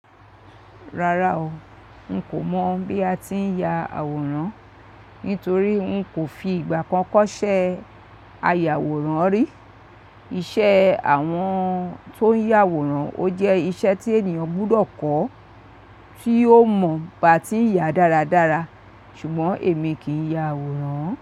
Rárá o, n kò mọ̀ bí a ti ń ya àwòrán, nítorí n kò fi ìgbà kan kọ́ṣẹ́ ayàwòrán rí. Iṣẹ́ àwọn tó ń yàwòrán ó jẹ́ iṣẹ́ tí ènìyàn gbúdọ̀ kọ́ kí ó mọ̀ bí a ti ń yà dáradára. Ṣùgbọ́n èmi kì í ya àwòrán.